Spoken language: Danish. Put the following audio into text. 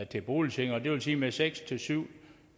til boligsikring og det vil sige at med seks syv